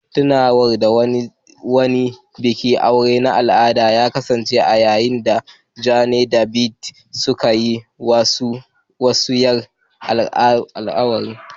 Tunawa da wani bikin aure na al'ada ya kasance a yayin da Jane da David suka yi musayar alƙawura.